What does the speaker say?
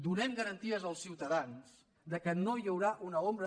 donem garanties als ciutadans que no hi haurà una ombra